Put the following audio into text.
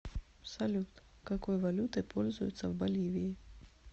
салют какой валютой пользуются в боливии